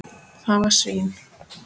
Það var sýn.